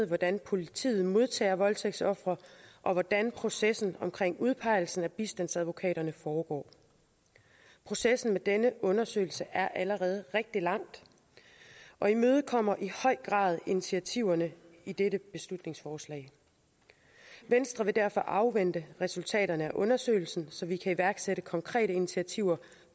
hvordan politiet modtager voldtægtsofre og hvordan processen omkring udpegelsen af bistandsadvokaterne foregår processen med denne undersøgelse er allerede rigtig langt og imødekommer i høj grad initiativerne i dette beslutningsforslag venstre vil derfor afvente resultaterne af undersøgelsen så vi kan iværksætte konkrete initiativer